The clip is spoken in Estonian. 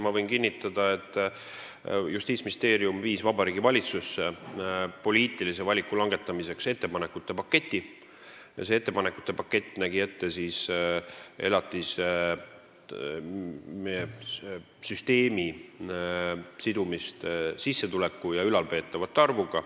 Ma võin kinnitada, et Justiitsministeerium viis Vabariigi Valitsusse poliitilise valiku langetamiseks ettepanekute paketi, mis näeb ette elatise sidumise sissetuleku ja ülalpeetavate arvuga.